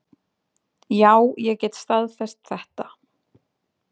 Já, ég get staðfest þetta.